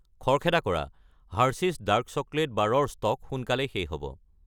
খৰখেদা কৰা, Hershey's dark chocolate bar ৰ ষ্টক সোনকালেই শেষ হ'ব।